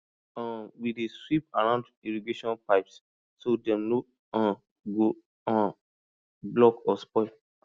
um we dey sweep around irrigation pipes so dem no um go um block or spoil